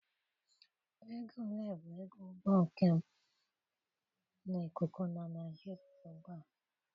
Ego ole bụ ego ụgbọ njem na ikuku na Naịjiria ugbu a?